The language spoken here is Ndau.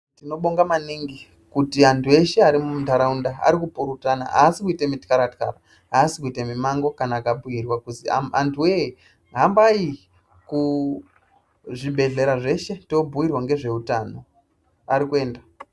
Tinobonga maningi kuti antu eshe ari muntaraunda ari kupurutana aasi kuita mu tyaratyara aasi kuite mimango kana akabhuyurwa kuzi antuwoye hambai kuzvibhehlera zveshe tabhuyirwa ngezveutano, arikuenda.